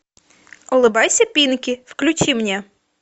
улыбайся пинки включи мне